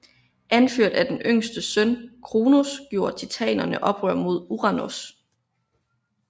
Anført af den yngste søn Kronos gjorde titanerne oprør mod Uranos